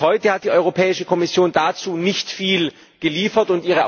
Bis heute hat die Europäische Kommission dazu nicht viel geliefert.